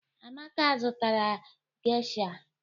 Amaka zụtara geisha.